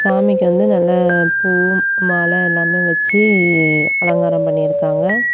சாமிக்கு வந்து நல்ல பூவும் மால எல்லாமே வச்சு அலங்காரம் பண்ணி இருக்காங்க.